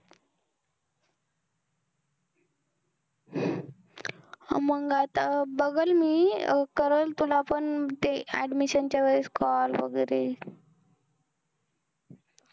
मग आता बघल मी, करल तुला पण ते admission च्या वेळेस call वैगेरे